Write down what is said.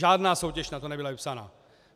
Žádná soutěž na to nebyla vypsána.